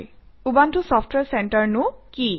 Ubuntu software চেণ্টাৰনো কি